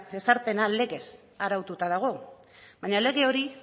ezarpena legez araututa dago baina lege hori